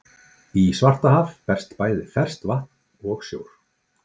Í Svartahaf berst bæði ferskt vatn og sjór.